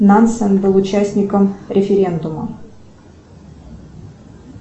нансен был участником референдума